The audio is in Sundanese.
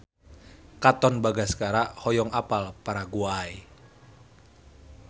Katon Bagaskara hoyong apal Paraguay